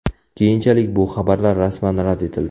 Keyinchalik bu xabarlar rasman rad etildi .